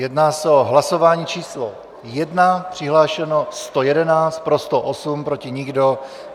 Jedná se o hlasování číslo 1, přihlášeno 111, pro 108, proti nikdo.